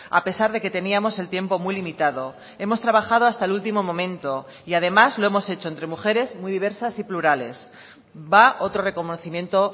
a pesar de que teníamos el tiempo muy limitado hemos trabajado hasta el último momento y además lo hemos hecho entre mujeres muy diversas y plurales va otro reconocimiento